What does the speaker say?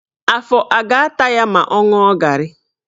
Afọ a ga-ata ya ma ọ ṅụọ garị?